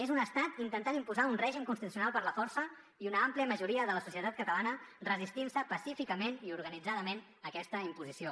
és un estat intentat imposar un règim constitucional per la força i una àmplia majoria de la societat catalana resistint se pacíficament i organitzadament a aquesta imposició